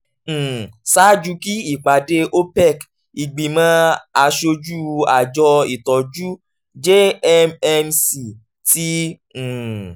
um ṣaaju kí ìpàdé opec ìgbìmọ̀ aṣojú àjọ ìtọ́jú jmmc ti um